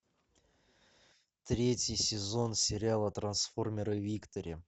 третий сезон сериала трансформеры виктори